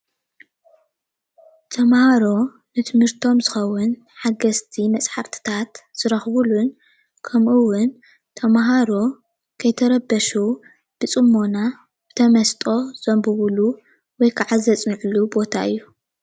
ተመሃሮ ንትምህርቶም ዝከውን ሓገዝቲ መፅሓፍትታት ዝረክብሉን ከምእዉን ተመሃሮ ከይተረበሹ ብፅሞነ ብተመስጦ ዘንብብሉ ወይድማ ዘፅንዕሉ ቦታ እዩ::